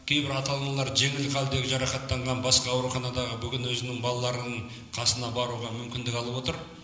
кейбір ата аналар жеңіл халдегі жарақаттанған басқа ауруханадағы бүгін өзінің балаларының қасына баруға мүмкіндік алып отыр